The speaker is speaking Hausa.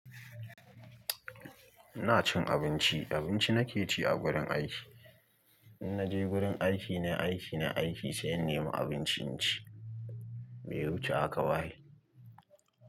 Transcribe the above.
Ina cin abinci, abinci nake ci a gurin aiki. In naje gurin aiki, nai aiki, nai aiki sai in nema abinci in ci. Me ya wuce haka ba ai.